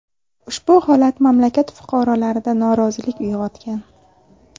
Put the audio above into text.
Ushbu holat mamlakat fuqarolarida norozilik uyg‘otgan.